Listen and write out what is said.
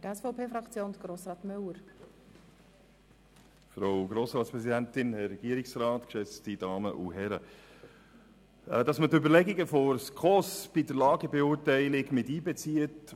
Es ist durchaus vernünftig, dass man die Überlegungen der SKOS bei der Lagebeurteilung miteinbezieht.